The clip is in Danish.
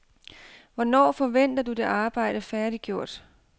Hvornår forventer du det arbejde færdiggjort?